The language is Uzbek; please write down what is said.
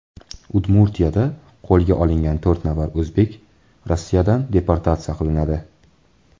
Udmurtiyada qo‘lga olingan to‘rt nafar o‘zbek Rossiyadan deportatsiya qilinadi.